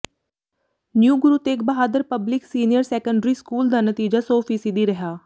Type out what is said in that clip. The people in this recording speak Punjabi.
new Guru Tegh Bahadur public senior secondary school ਦਾ ਨਤੀਜਾ ਸੌ ਫੀਸਦੀ ਰਿਹਾ